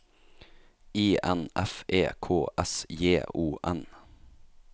I N F E K S J O N